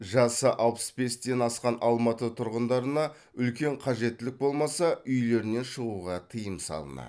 жасы алпыс бестен асқан алматы тұрғындарына үлкен қажеттілік болмаса үйлерінен шығуға тыйым салынады